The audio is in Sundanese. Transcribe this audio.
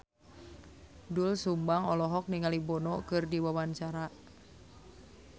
Doel Sumbang olohok ningali Bono keur diwawancara